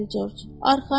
Arxayın ol.